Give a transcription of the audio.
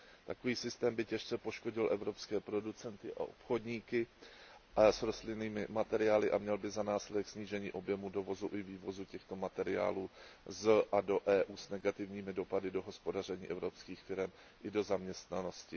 Takový systém by těžce poškodil evropské producenty a obchodníky s rostlinnými materiály a měl by za následek snížení objemu dovozu i vývozu těchto materiálů z a do EU s negativními dopady na hospodaření evropských firem i na zaměstnanost.